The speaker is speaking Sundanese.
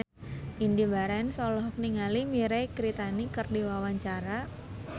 Indy Barens olohok ningali Mirei Kiritani keur diwawancara